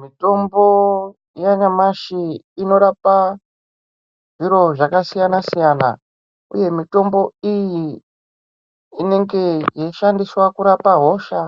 Mitombo yanyamashi inorapa zviro zvakasiyana siyana uye mitombo iyi inenge yeishandiswa kurapa hosha